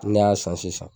Ne y'a san sisan